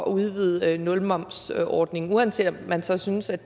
udvide nulmomsordningen uanset om man så synes at